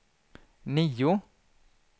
nio